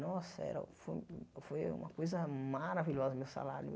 Nossa, era foi foi uma coisa maravilhosa o meu salário.